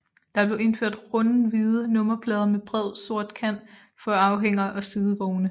Der blev indført runde hvide nummerplader med bred sort kant for anhængere og sidevogne